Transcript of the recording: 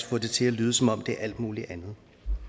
få det til at lyde som om det er alt muligt andet